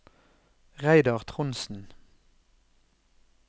Reidar Trondsen